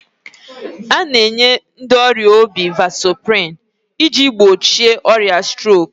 A na-enye vasoprin ndị ọrịa obi iji gbochie ọrịa strok